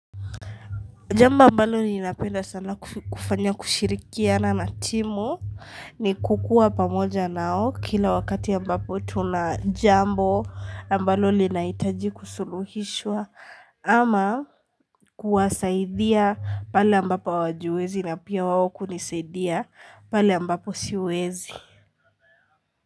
Jambo ambalo ni napenda sana kufanya kushirikiana na timu ni kukua pamoja nao kila wakati ambapo tuna jambo ambalo li naitaji kusuluhishwa ama kuwasaidia pale ambapo hawajiwezi na pia waoku nisaidia pale ambapo siwezi.